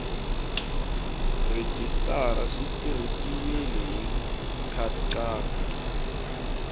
rhejisitara swi tirhisiwile hi nkhaqato